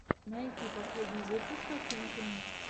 найти последний выпуск афинки